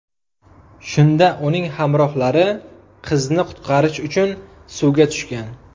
Shunda uning hamrohlari qizni qutqarish uchun suvga tushgan.